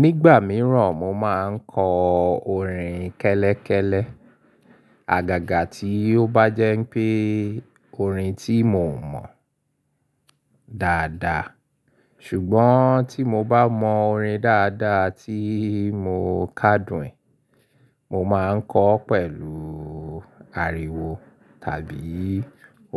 Nígbà mìíràn mo máa ń kọ orin kẹ́lẹ́kẹ́lẹ́, àgàgà tí ó bá jẹ́ pé orin tí mo mọ̀ dáadáa. Ṣùgbọ́n tí mo bá mọ orin dáadáa tí mo kádùn ún, mo máa ń kọ ọ́ pẹ̀lú ariwo tàbí